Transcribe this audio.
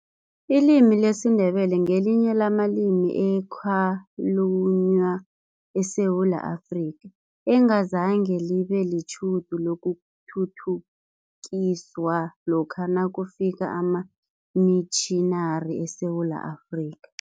Ilimi lesiNdebele ngelinye lamalimi ekhalunywa eSewula Afrika, engazange libe netjhudu lokuthuthukiswa lokha nakufika amamitjhinari eSewula Afrika.